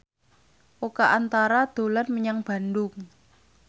Oka Antara dolan menyang Bandung